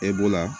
E b'o la